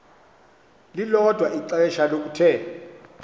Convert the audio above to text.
lilodwa ixesha lokuthe